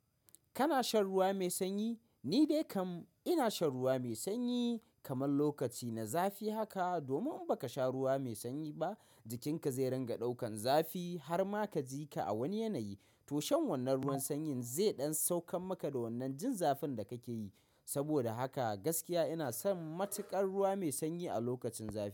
Kana shan ruwa mai sanyi? Ni dai kam ina shan ruwa mai sanyi kaman lokaci na zafi haka. Domin in baka sha ruwa mai sanyi ba, jikinka zai ringa ɗaukan zafi har ma ka ji ka a wani yanayi. To shan wannan ruwan sanyin zai ɗan saukar maka wannan jin zafin da kake yi. Saboda haka gaskiya ina son matuƙar ruwa mai sanyi a lokacin zafi.